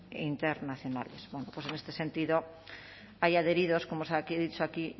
internacionales en este sentido hay adheridos como he dicho aquí